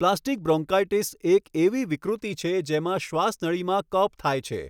plastic bronchitis એ એક એવી વિકૃતિ છે જેમાં શ્વાસનળીમાં કફ થાય છે